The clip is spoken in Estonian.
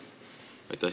Aitäh!